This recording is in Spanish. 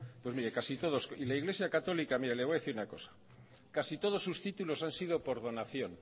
pues mire casi todos y la iglesia católica mire le voy a decir una cosa casi todos sus títulos han sido por donación